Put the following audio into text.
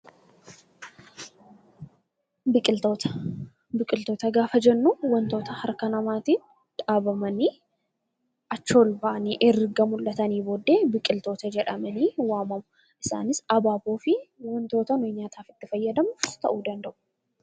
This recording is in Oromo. Biqiltoota Biqiltoota gaafa jennu wantota harka namaatiin dhaabamanii, achii ol bahanii erga mul'atanii booddee biqiltoota jedhamanii waamamu. Isaanis abaaboo fi wantoota nuyi nyaataaf itti fayyadamnu ta'uu danda'u.